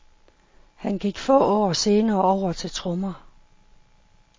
Han gik få år senere over til trommer.